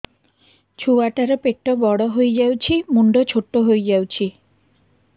ଛୁଆ ଟା ର ପେଟ ବଡ ହେଇଯାଉଛି ମୁଣ୍ଡ ଛୋଟ ହେଇଯାଉଛି